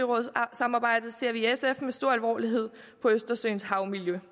samarbejdet ser vi i sf med stor alvor på østersøens havmiljø